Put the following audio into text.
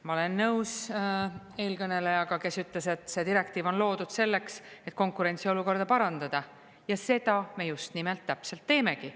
Ma olen nõus eelkõnelejaga, kes ütles, et see direktiiv on loodud selleks, et konkurentsiolukorda parandada, ja seda me just nimelt täpselt teemegi.